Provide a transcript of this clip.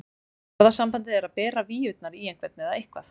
Orðasambandið er að bera víurnar í einhvern eða eitthvað.